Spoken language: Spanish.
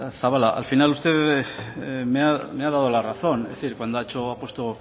zabala al final usted me ha dado la razón cuando ha hecho justo